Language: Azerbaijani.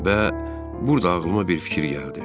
Və burda ağlıma bir fikir gəldi.